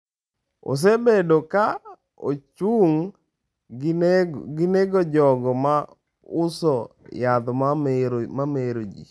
Osebedo ka ochung’ gi nego jogo ma uso yath ma mero ji.